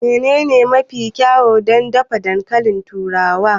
Menene hanya mafi kyau don dafa dankalin turawa?